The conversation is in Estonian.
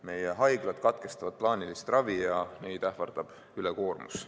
Meie haiglad katkestavad plaanilist ravi ja neid ähvardab ülekoormus.